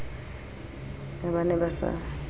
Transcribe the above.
ha ba ne ba sa